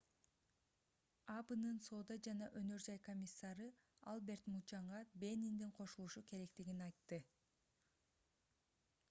абнын соода жана өнөр жай комиссары альберт мучанга бениндин кошулушу керектигин айтты